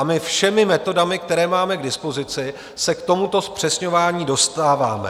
A my všemi metodami, které máme k dispozici, se k tomuto zpřesňování dostáváme.